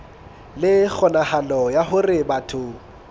le kgonahalo ya hore batho